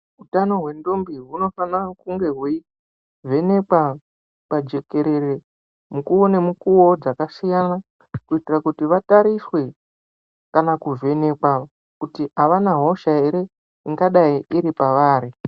Hutani hwendombi hunofanira kunge hweivhenekwa pajekerere mukuvo nemukuvo dzakasiyana. Kuitira kuti vatariswe kana kuvheneka kuti havana hosha rere ingadai iri pavari.